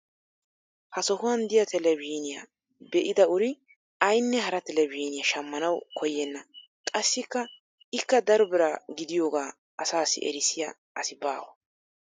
Ha sohuwan diya televizhiiniya be'ida uri aynne hara telebzhzhiiniya shamanawu koyenna. Qassi ikka daro bira gidiyoogaa asaassi errisiya asi baawa.